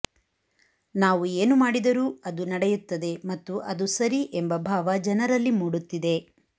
ನಾವು ಏನು ಮಾಡಿದರೂ ಅದು ನಡೆಯುತ್ತದೆ ಮತ್ತು ಅದು ಸರಿ ಎಂಬ ಭಾವ ಜನರಲ್ಲಿ ಮೂಡುತ್ತಿದೆ